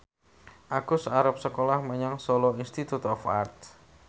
Agus arep sekolah menyang Solo Institute of Art